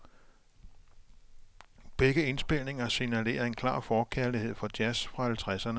Begge indspilninger signalerer en klar forkærlighed for jazz fra halvtredserne.